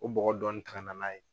K'o bɔgɔ dɔni ta ka na n'a ye